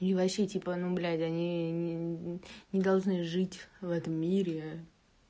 и вообще типа ну блять они не должны жить в этом мире